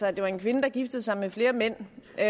at det var en kvinde der giftede sig med flere mænd jeg